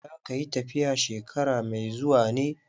Za ka yi tafiya shekara mai zuwa ne?